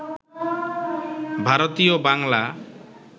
ভারতীয় বাংলা